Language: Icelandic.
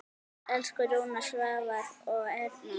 Elsku Rúna, Svavar og Erna.